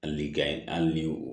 Hali likan an ni o